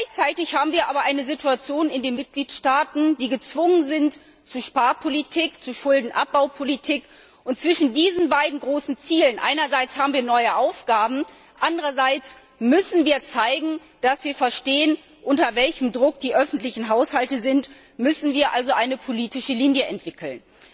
Gleichzeitig haben wir aber eine Situation in den Mitgliedstaaten, die zu Sparpolitik, zu Schuldenabbaupolitik zwingt, und zwischen diesen beiden großen Zielen einerseits haben wir neue Aufgaben, andererseits müssen wir zeigen, dass wir verstehen, unter welchem Druck die öffentlichen Haushalte sind müssen wir also eine politische Linie entwickeln.